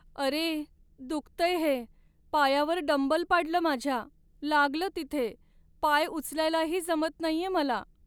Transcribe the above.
अरे! दुखतंय हे. पायावर डंबल पाडलं माझ्या, लागलं तिथे. पाय उचलायलाही जमत नाहीये मला.